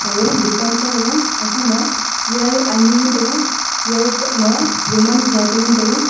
aga dukan kha thega gakha ma chair ani ngan taiga chair tok ma duman kusa a che ngan taiga.